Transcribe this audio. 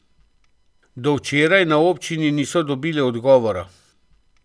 Do včeraj na občini niso dobili odgovora.